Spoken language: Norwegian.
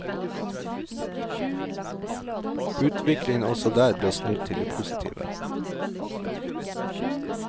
Utviklingen også der ble snudd til det postive.